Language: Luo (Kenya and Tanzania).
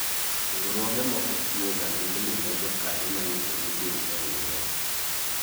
Riwruoge moko chiwo ga nembni ne jokanyo manyiso ni gin e riwruok